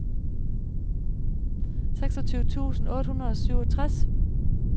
seksogtyve tusind otte hundrede og syvogtres